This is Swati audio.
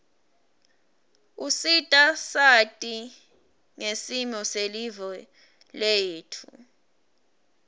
usita sati ngsimo selive letfu